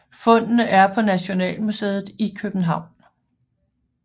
Fundene er på Nationalmuseet i København